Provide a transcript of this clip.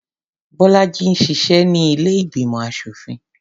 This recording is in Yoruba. Bọ́lájí ń ṣiṣẹ́ ní ilé ìgbìmọ̀ aṣòfin.